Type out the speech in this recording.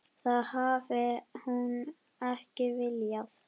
Það hafi hún ekki viljað.